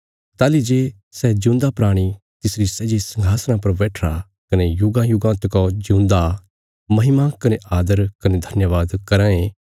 ताहली जे सै जिऊंदा प्राणी तिसरी सै जे संघासणा पर बैठिरा कने युगांयुगां तकौ जिऊंदा महिमा कने आदर कने धन्यवाद कराँ ये